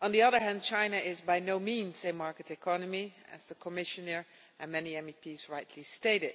On the other hand, China is by no means a market economy, as the Commissioner and many MEPs have rightly stated,